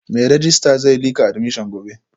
Mai rejista zai lika admission gobe